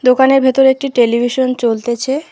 দোকানের ভেতরে একটি টেলিভিশন চলতেছে।